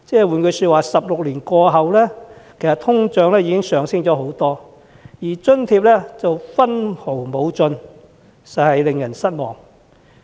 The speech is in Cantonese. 換言之 ，16 年來通脹升幅不少，但津貼卻分毫不增，實在令人失望。